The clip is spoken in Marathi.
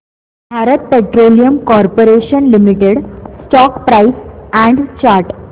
Bharat petroleum corporation limited stock price and chart